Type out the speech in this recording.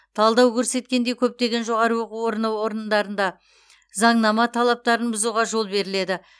талдау көрсеткендей көптеген жоғары оқу орындарында заңнама талаптарын бұзуға жол беріледі